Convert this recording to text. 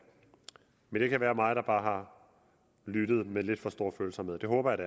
men det kan være mig der bare har lyttet med lidt for stor følsomhed det håber jeg